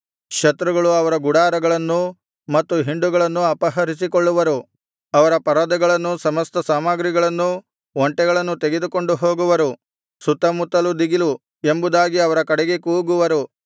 ಶತ್ರುಗಳು ಅವರ ಗುಡಾರಗಳನ್ನೂ ಮತ್ತು ಹಿಂಡುಗಳನ್ನೂ ಅಪಹರಿಸಿಕೊಳ್ಳುವರು ಅವರ ಪರದೆಗಳನ್ನೂ ಸಮಸ್ತ ಸಾಮಗ್ರಿಗಳನ್ನೂ ಒಂಟೆಗಳನ್ನೂ ತೆಗೆದುಕೊಂಡು ಹೋಗುವರು ಸುತ್ತಮುತ್ತಲು ದಿಗಿಲು ಎಂಬುದಾಗಿ ಅವರ ಕಡೆಗೆ ಕೂಗುವರು